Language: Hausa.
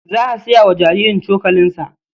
Za a saya wa jaririn cokalinsa.